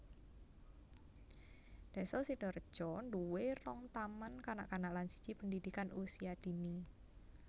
Désa Sidareja duwé rong taman kanak kanak lan siji pendidikan usia dini